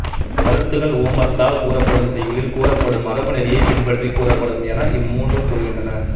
கருத்துகள் உவமத்தால் கூறப்படும் செய்யுளில் கூறப்படும் மரபுநெறியைப் பின்பற்றிக் கூறப்படும் என இம் மூன்றும் கூறுகின்றன